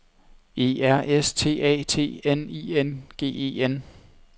E R S T A T N I N G E N